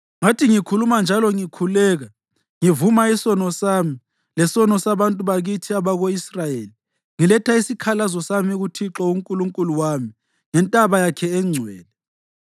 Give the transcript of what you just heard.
Ngathi ngikhuluma njalo ngikhuleka, ngivuma isono sami, lesono sabantu bakithi abako-Israyeli, ngiletha isikhalazo sami kuThixo uNkulunkulu wami ngentaba yakhe engcwele,